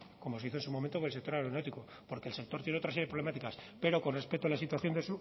como se hizo en su momento que el sector aeronáutico porque el sector tiene otra serie de problemáticas pero con respecto a la situación de